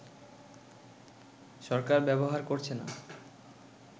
সরকার ব্যবহার করছে না